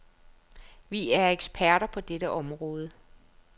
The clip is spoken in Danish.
Vi er eksperter på dette område.